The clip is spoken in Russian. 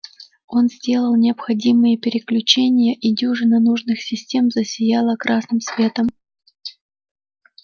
он сделал необходимые переключения и дюжина нужных систем засияла красным светом